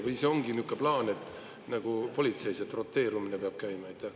Või see ongi niisugune plaan – nagu politseis –, et pidev roteerumine peab käima?